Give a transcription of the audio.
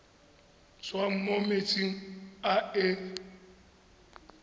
tswang mo metsing a e